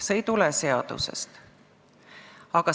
See ei tulene seadusest.